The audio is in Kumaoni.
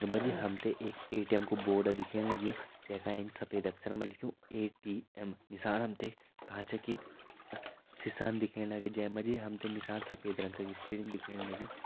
मा जी हम तें एक ऐ.टी.एम कु बोर्ड दिखेण लग्युं जै का एंच सफ़ेद अक्षर मा लिख्युं ऐ.टी.एम नीसाण हम तें कांचा की सिसा दिखेण लगीं जै मा जी हम तें नीसाण सफ़ेद रंगा की सीढ़ी दिखेण लगीं।